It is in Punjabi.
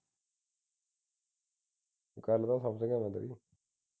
ਗਁਲ ਮੈਂ ਸਮਝ ਗਿਆ ਵਾ ਤੇਰੀ